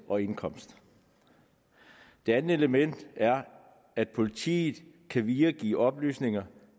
og indkomst det andet element er at politiet kan videregive oplysninger